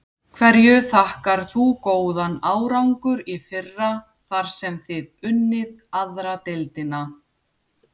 Hverju þakkar þú góðan árangur í fyrra þar sem þið unnið aðra deildina?